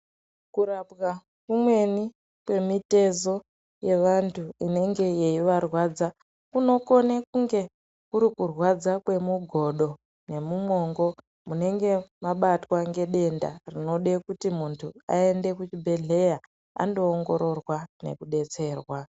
Kurapwa kumweni kwemitezo yevantu inenge yeivarwadza kunokone kunge kurikurwadza kwemugodo ngemumwongo munenge mabatwa ngedenda rinode kuti muntu aende kuchibhedhleya, andoongororwa nekudetserwa.